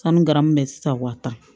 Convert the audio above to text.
Sanu garamu bɛ se ka wa tan